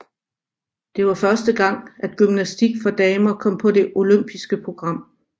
Det var første gang at gymnastik for damer kom på det olympiske program